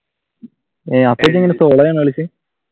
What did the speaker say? solo ആണോ കളിച്ചത്?